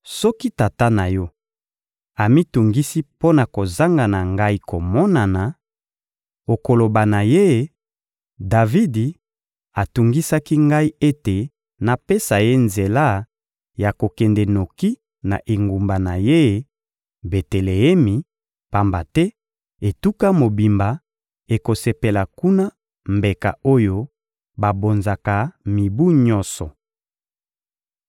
Soki tata na yo amitungisi mpo na kozanga na ngai komonana, okoloba na ye: «Davidi atungisaki ngai ete napesa ye nzela ya kokende noki na engumba na ye, Beteleemi, pamba te etuka mobimba ekosepela kuna mbeka oyo babonzaka mibu nyonso.»